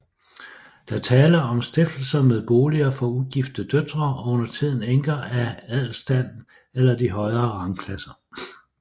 Der er tale om stiftelser med boliger for ugifte døtre og undertiden enker af adelsstanden eller de højere rangklasser